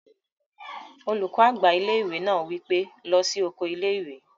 Olùkọ́ àgbà ilé-ìwé náà wí pé, "lọ sí oko ilé-ìwé!"